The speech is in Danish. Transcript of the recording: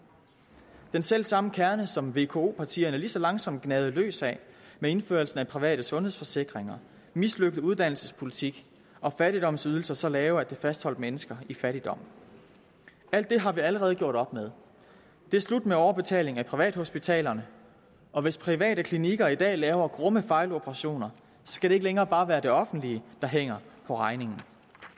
den selv samme kerne som vko partierne lige så langsomt gnavede løs af med indførelsen af private sundhedsforsikringer mislykket uddannelsespolitik og fattigdomsydelser så lave at det fastholdt mennesker i fattigdom alt det har vi allerede gjort op med det er slut med overbetaling af privathospitalerne og hvis private klinikker i dag laver grumme fejloperationer skal det ikke længere bare være det offentlige der hænger på regningen